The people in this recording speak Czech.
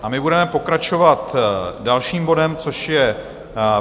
A my budeme pokračovat dalším bodem, což je